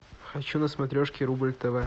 хочу на смотрешке рубль тв